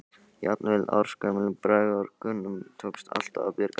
Jafnvel ársgömlum braggabörnum tókst alltaf að bjarga.